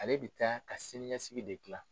Ale bɛ taa ka sini ɲɛsigi de gilan.